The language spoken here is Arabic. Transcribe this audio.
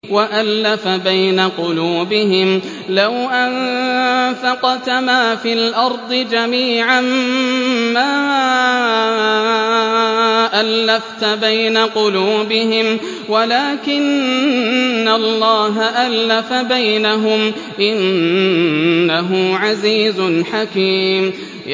وَأَلَّفَ بَيْنَ قُلُوبِهِمْ ۚ لَوْ أَنفَقْتَ مَا فِي الْأَرْضِ جَمِيعًا مَّا أَلَّفْتَ بَيْنَ قُلُوبِهِمْ وَلَٰكِنَّ اللَّهَ أَلَّفَ بَيْنَهُمْ ۚ إِنَّهُ عَزِيزٌ حَكِيمٌ